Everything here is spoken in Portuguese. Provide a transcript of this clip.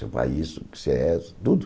Você faz isso, que você é tudo.